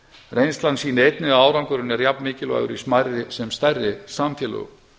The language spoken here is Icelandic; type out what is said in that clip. reynslan sýni einnig að árangurinn er jafnmikilvægur í smærri sem stærri samfélögum